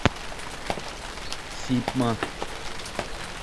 сипма